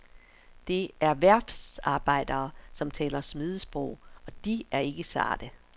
Det er værftsarbejdere, som taler smedesprog, og de er ikke sarte.